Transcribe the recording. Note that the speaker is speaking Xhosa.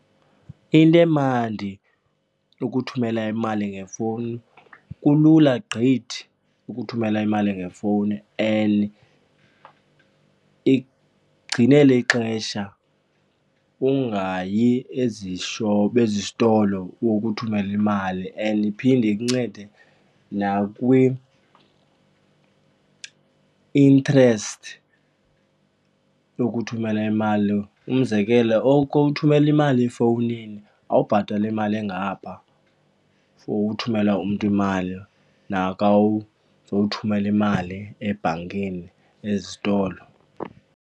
Into emandi ukuthumela imali ngefowuni, kulula gqithi ukuthumela imali ngefowuni and ikugcinela ixesha ungayi ezitolo uyokuthumela imali and iphinde ikuncede nakwi-interest yokuthumela imali. Umzekelo kowuthumela imali efowunini awubhatali imali engapha for uthumela umntu imali nakawuthumela imali ebhankini ezitolo.